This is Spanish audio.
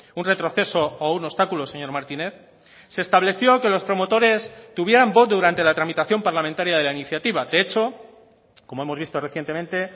un retroceso o un obstáculo señor martínez se estableció que los promotores tuvieran voz durante la tramitación parlamentaria de la iniciativa de hecho como hemos visto recientemente